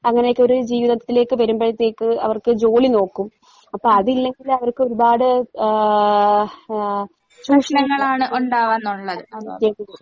അങ്ങനെയൊക്കെ ഒര് ജീവിതത്തിലേക്ക് വരുമ്പഴത്തേയ്ക്ക് അവർക്ക് ജോലി നോക്കും. അപ്പ അതില്ലെങ്കിലവർക്കൊരുപാട് ഏഹ് ആഹ്